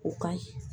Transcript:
O ka ɲi